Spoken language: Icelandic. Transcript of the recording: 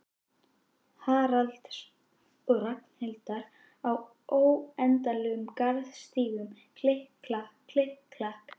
Haralds og Ragnhildar á óendanlegum garðstígnum, klikk-klakk, klikk-klakk.